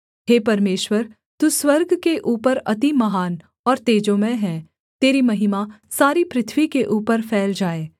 हे परमेश्वर तू स्वर्ग के ऊपर अति महान और तेजोमय है तेरी महिमा सारी पृथ्वी के ऊपर फैल जाए